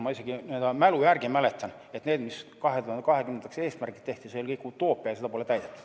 Ma isegi mälu järgi mäletan, et need eesmärgid, mis 2020-ndaks tehti, see kõik oli utoopia ja seda pole täidetud.